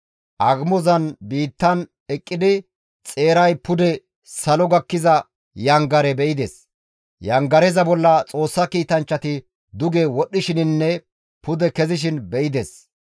Agumozan biittan eqqidi xeeray pude salo gakkiza yangare be7ides; yangareza bolla Xoossa kiitanchchati duge wodhdhishininne pude kezishin be7ides.